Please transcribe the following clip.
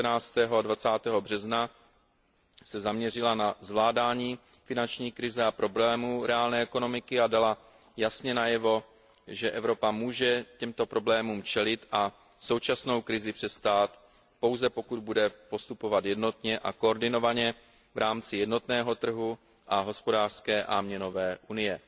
19. a 20. března zaměřila na zvládání finanční krize a problémů reálné ekonomiky a dala jasně najevo, že Evropa může těmto problémům čelit a současnou krizi přestát, pouze pokud bude postupovat jednotně a koordinovaně v rámci jednotného trhu a hospodářské a měnové unie.